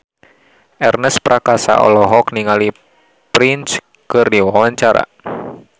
Ernest Prakasa olohok ningali Prince keur diwawancara